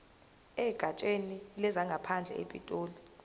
egatsheni lezangaphandle epitoli